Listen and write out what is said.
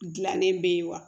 Gilannen be ye wa